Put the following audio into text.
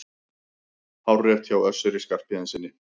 Hárrétt hjá Össuri Skarphéðinssyni!